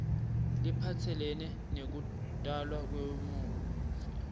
lephatselene nekutalwa kwemufi